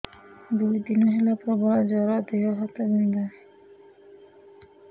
ଦୁଇ ଦିନ ହେଲା ପ୍ରବଳ ଜର ଦେହ ହାତ ବିନ୍ଧା